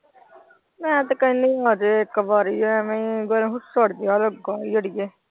ਮੈਂ ਤੇ ਕਹਿਣੀ ਆਜੇ ਇੱਕ ਵਾਰੀ ਐਵੇਂ ਗਰਮ ਲੱਗਾ ਈ ਅੜੀਏ।